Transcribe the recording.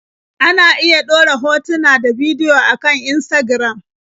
Ana iya ɗora hotuna ta bidiyo a kan Instagram.